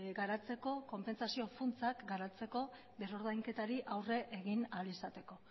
garatzeko eta konpentsazio funtsak garatzeko berrordainketari aurre egin ahal izateko